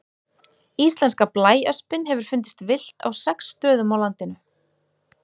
Íslenska blæöspin hefur fundist villt á sex stöðum á landinu.